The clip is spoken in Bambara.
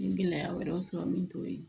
N ye gɛlɛya wɛrɛw sɔrɔ min t'o ye